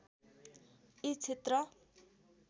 यी क्षेत्र